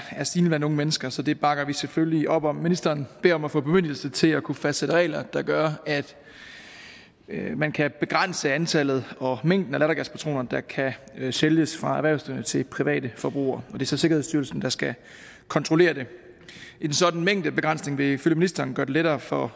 stigende blandt unge mennesker så det bakker vi selvfølgelig op om ministeren beder om at få bemyndigelse til at kunne fastsætte regler der gør at man kan begrænse antallet og mængden af lattergaspatroner der kan sælges af erhvervsdrivende til private forbrugere det er så sikkerhedsstyrelsen der skal kontrollere det en sådan mængdebegrænsning vil følge ministeren gøre det lettere for